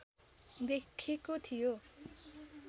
देखेको थियो